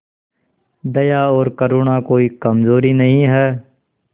दया और करुणा कोई कमजोरी नहीं है